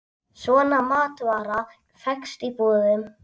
Svona matvara fékkst í búðum.